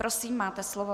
Prosím, máte slovo.